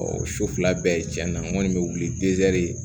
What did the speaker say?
Ɔ o so fila bɛɛ cɛn na n kɔni bɛ wili zɛri